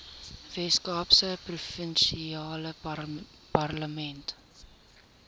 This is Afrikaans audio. weskaapse provinsiale parlement